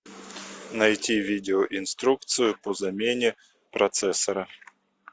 найти видео инструкцию по замене процессора